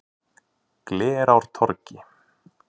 Glerártorgi